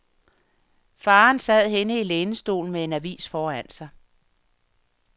Faderen sad henne i lænestolen med en avis foran sig.